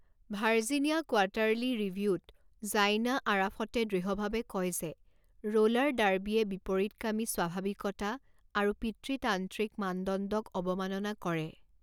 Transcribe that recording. Virginia quarterly ৰিভিউ'ত Zaina আৰাফতে দৃঢ়ভাৱে কয় যে ৰ'লাৰ ডাৰ্বীয়ে বিপৰীতকামী স্বাভাৱিকতা আৰু পিতৃতান্ত্ৰিক মানদণ্ডক অৱমাননা কৰে।